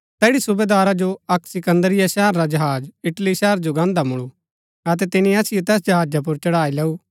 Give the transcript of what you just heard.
तैड़ी सूबेदारा जो अक्क सिकन्दरिया शहर रा जहाज इटली शहर जो गान्दा मूलु अतै तिनी असिओ तैस जहाजा पुर चढ़ाई लैऊ